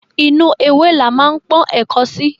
Inú ewé la ma ń pọ́n ẹ̀ko sí.